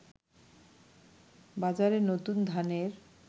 বাজারে নতুন ধানের